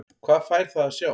Hvað fær það að sjá?